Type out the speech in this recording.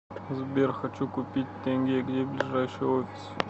сбер хочу купить тенге где ближайший офис